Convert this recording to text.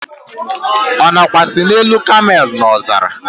ọ̀ nọkwasi n'elu camel n'ọzara?